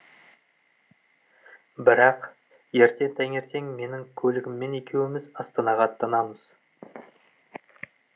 бірақ ертең таңертең менің көлігіммен екеуіміз астанаға аттанамыз